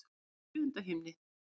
Hún er í sjöunda himni.